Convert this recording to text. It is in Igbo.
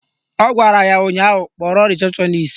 Ọ gwara ya ụnyaahụ "Kpọrọ rịsepshọnis"!